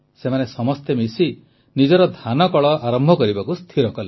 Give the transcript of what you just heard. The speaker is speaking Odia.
ସେମାନେ ସମସ୍ତେ ମିଶି ନିଜର ଧାନକଳ ଆରମ୍ଭ କରିବାକୁ ସ୍ଥିର କଲେ